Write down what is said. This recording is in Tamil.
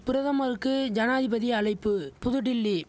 பிரதமருக்கு ஜனாதிபதி அழைப்பு புதுடில்லி